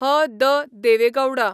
H. D.. Deve Gauda